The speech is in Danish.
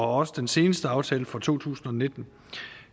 også den seneste aftale for to tusind og nitten